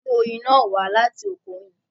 A mú oyin náà wá láti Oko Oyin